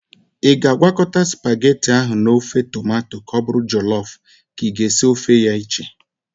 Ị ga-agwakọta spagheti ahu n'ofe tomato ka ọ bụrụ jọlọf ka i ga-esi ofe ya iche?